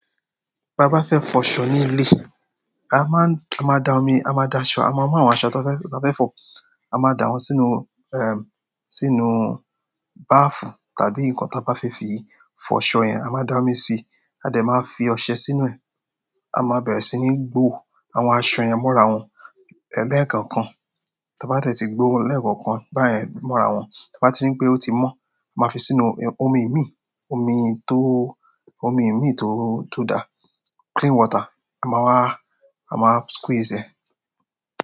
Bí a bá fẹ́ fọ ṣọ ní ilé, a máa, a máa da omi, a máa da ṣọ, a máa mú àwọn aṣọ tí a fẹ́ fọ, a máa da wọn sínú, sínú bàáfù tàbí nǹkan tí a bá fẹ́ fi fọ ṣọ yẹn, a máa da omi síi, a dẹ̀ máa fi ọṣẹ sínú ẹ̀. A máa bẹ̀rẹ̀ sí ní gbó àwọn aṣọ yẹn mọ́ra wọn lẹ́ẹ̀kànkan. Tí a bá de ti gbó wọn lẹ́ẹ̀kọ̀kan, bá yẹn mọ́ra wọn, tí a bá tí ní pé ó ti mọ́, máa fi sínú omi imí, omi tó, omi imí tó, tó dá, clean water. A máa wá, a máa squeeze ẹ̀.